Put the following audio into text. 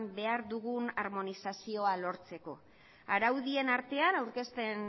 behar digun armonizazioa lortzeko araudien artean aurkezten